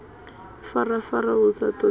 ifarafara hu sa ṱoḓei na